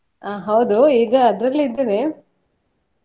ಹೌದು ಈಗ ಅದ್ರಲ್ಲೇ ಇದ್ದೇನೆ.